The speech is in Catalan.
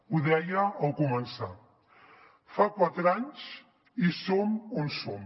ho deia al començar fa quatre anys i som on som